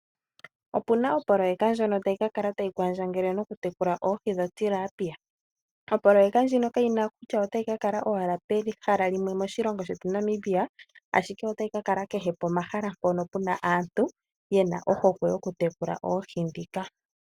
Opu na opoloyeka ndjono ta yi ka kala tayi kwandjangele nokutekula oohi dhoTilapia. Oprojeka ndjino kayi na kutya ota yi ka kala owahala pehala moshilongo shetu Namibia, ashike ota yi ka kala kehe pomahala mpono pu na aantu ye na ohokwe yoku tekula oohi ndhika.